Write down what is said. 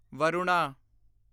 Varuna